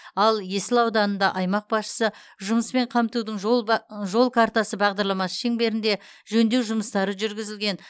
ал есіл ауданында аймақ басшысы жұмыспен қамтудың жол картасы бағдарламасы шеңберінде жөндеу жұмыстары жүргізілген